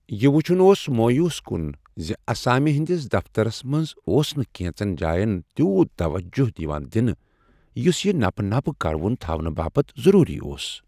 یہ وُچھُن اوس مویوس کُن زِ اسامہِ ہندِس دفترس منٛز اوس نہٕ کینٛژن جاین تیوت توجہ یوان دنہٕ یُس یہِ نپہٕ نپہٕ كروٗن تھونہٕ باپت ضروری اوس ۔